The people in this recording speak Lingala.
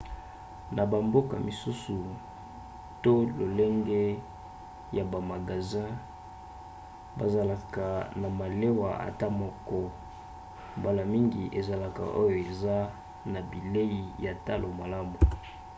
na bamboka misusu to lolenge ya bamagasin bazalaka na malewa ata moko mbala mingi ezalaka oyo eza na bilei ya talo malamu